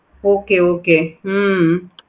okay okay hmm